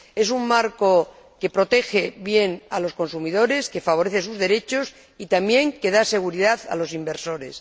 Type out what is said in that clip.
Es un marco que protege bien a los consumidores, que favorece sus derechos y, también, que da seguridad a los inversores.